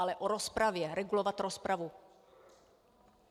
Ale o rozpravě, regulovat rozpravu.